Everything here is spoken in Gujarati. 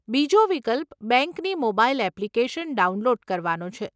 બીજો વિકલ્પ બેંકની મોબાઈલ એપ્લીકેશન ડાઉનલોડ કરવાનો છે.